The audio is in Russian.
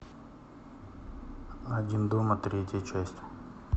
один дома третья часть